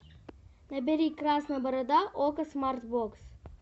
набери красная борода окко смарт бокс